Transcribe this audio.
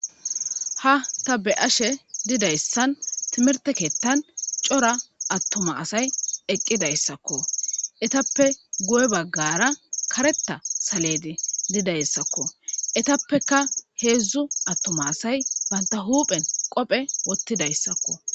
Ha ta be ashe didayssan timirte keettan cora attoma asay eqqidayssakko etappe gu'e baggara karetta saledi didayssakko etappeka heedzdzu attoma asay banta huphen qophe wottidayssakko